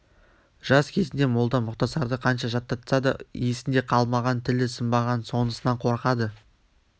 жас кезінде молда мұқтасарды қанша жаттатса да есінде қалмаған тілі сынбаған сонысынан қорқады